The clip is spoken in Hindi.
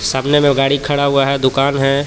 सामने में वो गाडी खड़ा हुआ है दूकान है.